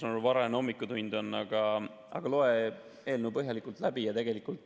Varajane hommikutund on, aga loe eelnõu põhjalikult läbi.